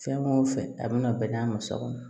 Fɛn o fɛn a bɛna bɛnn'a ma so kɔnɔ